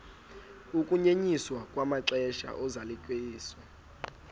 ukunyenyiswa kwamaxesha ozalisekiso